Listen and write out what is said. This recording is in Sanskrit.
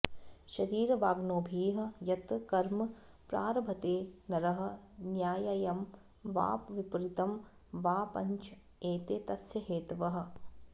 शरीरवाङ्मनोभिः यत् कर्म प्रारभते नरः न्याय्यं वा विपरीतं वा पञ्च एते तस्य हेतवः